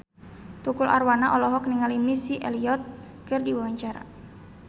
Tukul Arwana olohok ningali Missy Elliott keur diwawancara